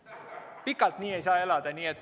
Pikalt nii ei saa elada.